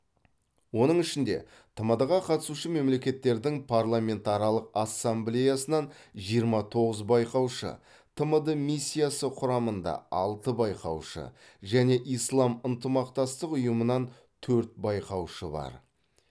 оның ішінде тмд ға қатысушы мемлекеттердің парламентаралық ассамблеясынан жиырма тоғыз байқаушы тмд миссиясы құрамында алты байқаушы және ислам ынтымақтастық ұйымынан төрт байқаушы бар